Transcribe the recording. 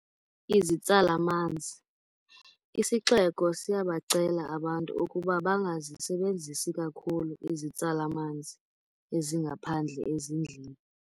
Izitsala-manzi. Isixeko siyabacela abantu ukuba bangazisebenzisi kakhulu izitsala-manzi ezingaphandle ezindlini.